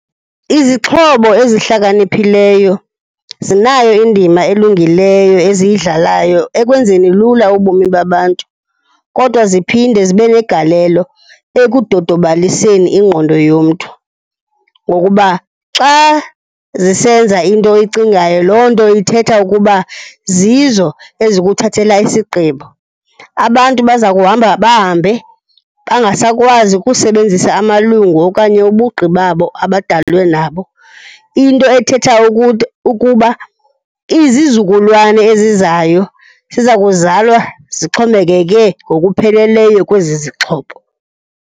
Izixhobo ezihlakaniphileyo zinayo indima elungileyo eziyidlalayo ekwenzeni lula ubomi babantu kodwa ziphinde zibe negalelo ekudodobaliseni ingqondo yomntu ngokuba xa zisenza into oyicingayo, loo nto ithetha ukuba zizo ezikuthathela isigqibo. Abantu baza kuhamba bahambe bangasakwazi ukusebenzisa amalungu okanye ubugqi babo abadalwe nabo, into ethethayo ukuba izizukulwane ezizayo ziza kuzalwa zixhomekeke ngokupheleleyo kwezi zixhobo.